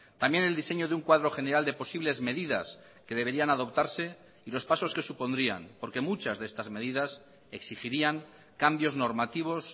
también el diseño de un cuadro general de posibles medidas que deberían adoptarse y los pasos que supondrían porque muchas de estas medidas exigirían cambios normativos